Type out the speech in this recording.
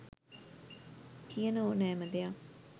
කියන ඕනෑම දෙයක්